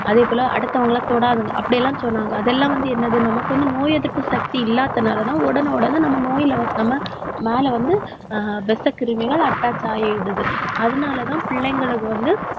அதேபோல, அடுத்தவங்களை தொடாதே அப்படியெல்லாம் சொன்னாங்க. அதெல்லாம் வந்து என்னது நமக்கு வந்து நோய் எதிர்ப்பு சக்தி இல்லாதனாலதான் உடனே, உடனே நம்ம நோயில நம்ம மேல வந்து, ஆஹ் விஷக்கிருமிகள் attack ஆயிடுது. அதனாலதான் பிள்ளைங்களுக்கு வந்து,